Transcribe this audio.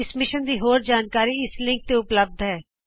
ਇਸ ਮਿਸ਼ਨ ਦੀ ਹੋਰ ਜਾਣਕਾਰੀ ਇਸ ਲਿੰਕ ਤੇ ਉਪਲੱਭਦ ਹੋ